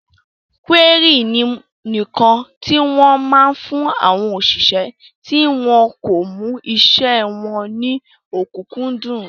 Kúérì ni ǹkan tí wọ́n máa ń fún àwọn òṣìṣẹ́ tí wọn kò mú isẹ́ wọn ní ọ̀kúnkúndùn